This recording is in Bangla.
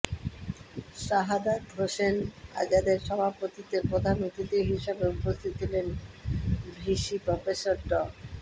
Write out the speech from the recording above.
শাহাদাৎ হোসেন আজাদের সভাপতিত্বে প্রধান অতিথি হিসেবে উপস্থিত ছিলেন ভিসি প্রফেসর ড